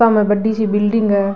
बामे बड़ी सी बिल्डिंग है।